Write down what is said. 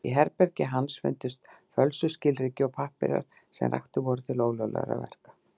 Í herbergi hans fundust fölsuð skilríki og pappírar sem raktir voru til ólöglegra verka.